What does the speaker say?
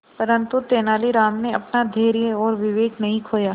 परंतु तेलानी राम ने अपना धैर्य और विवेक नहीं खोया